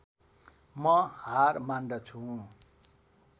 म हार मान्दछु